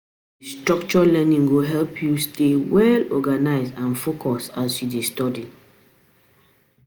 To structure learning go help you stay stay organized and focused as you dey study.